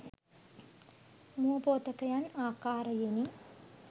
මුව පෝතකයන් ආකාරයෙනි.